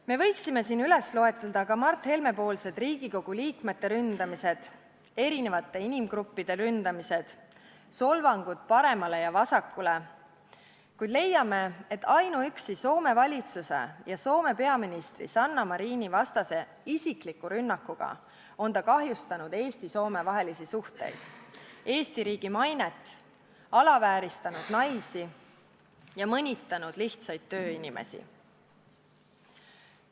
Me võiksime siin üles lugeda Mart Helme poolsed Riigikogu liikmete ründamised, eri inimgruppide ründamised, solvangud paremale ja vasakule, kuid leiame, et juba ainuüksi Soome valitsuse ja Soome peaministri Sanna Marini vastase isikliku rünnakuga on ta kahjustanud Eesti-Soome suhteid ja Eesti riigi mainet, alavääristanud naisi ja mõnitanud lihtsaid tööinimesi.